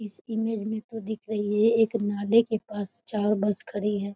इस इमेज में तो दिख रही एक नाले के पास चार बस खड़ी है।